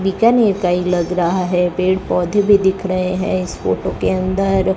बीकानेर का ये लग रहा है पेड़ पौधे भी दिख रहे है इस फोटो के अंदर--